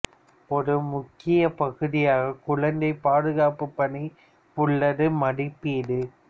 ஒரு முக்கிய பகுதியாக குழந்தை பாதுகாப்பு பணி உள்ளது மதிப்பீடு